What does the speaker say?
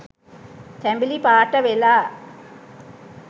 තැඹිලි පාට වෙලා